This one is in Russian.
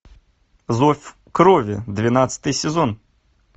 зов крови двенадцатый сезон